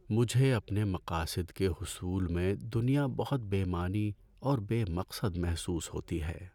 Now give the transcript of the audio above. مجھے اپنے مقاصد کے حصول میں دنیا بہت بے معنی اور بے مقصد محسوس ہوتی ہے۔